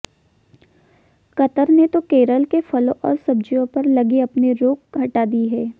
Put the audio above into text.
Qatar ने तो केरल के फलों और सब्जियों पर लगी अपनी रोक हटा दी है